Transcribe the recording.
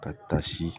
Ka taa si